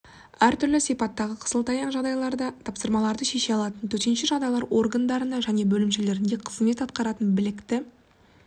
әртүрлі сипаттағы қисылтаяң жағдайларда тапсырмаларды шеше алатын төтенше жағдайлар органдарында және бөлімшелерінде қызмет атқаратын білікті